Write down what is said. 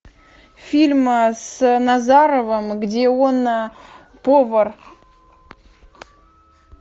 фильм с назаровым где он повар